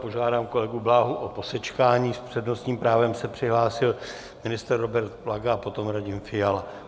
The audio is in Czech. Požádám kolegu Bláhu o posečkání, s přednostním právem se přihlásil ministr Robert Plaga a potom Radim Fiala.